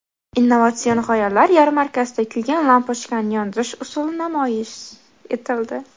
Innovatsion g‘oyalar yarmarkasida kuygan lampochkani yondirish usuli namoyish etildi.